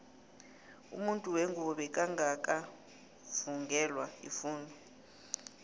umuntu wengubo bekangaka vungelwa ifundo